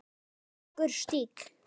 Ólíkur stíll.